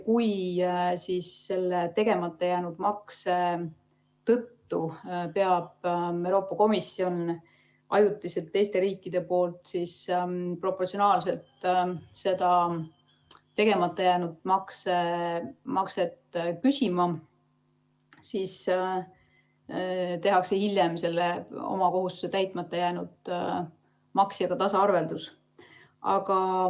Kui selle tegemata jäänud makse tõttu peab Euroopa Komisjon ajutiselt teiste riikide käest proportsionaalselt seda tegemata jäänud makset küsima, siis tehakse hiljem selle oma kohustuste täitmata jätnud maksjaga tasaarveldus.